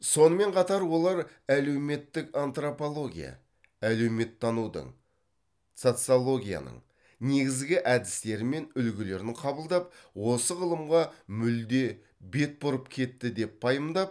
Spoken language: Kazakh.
сонымен қатар олар әлеуметтік антропология әлеуметтанудың социологияның негізгі әдістері мен үлгілерін қабылдап осы ғылымға мүлде бет бұрып кетті деп пайымдап